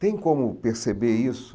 Tem como perceber isso?